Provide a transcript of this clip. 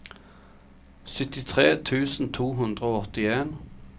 syttitre tusen to hundre og åttien